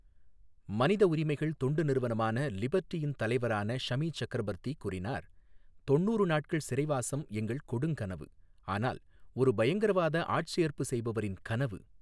மனித உரிமைகள் தொண்டு நிறுவனமான லிபர்ட்டியின் தலைவரான ஷமி சக்ரபர்தி கூறினார், தொண்ணூறு நாட்கள் சிறைவாசம் எங்கள் கொடுங்கனவு ஆனால் ஒரு பயங்கரவாத ஆட்சேர்ப்பு செய்பவரின் கனவு.